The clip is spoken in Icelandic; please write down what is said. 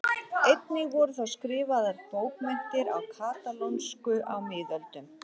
Einnig voru þó skrifaðar bókmenntir á katalónsku á miðöldum.